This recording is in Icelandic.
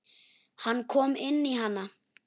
Hann kom inn í hana.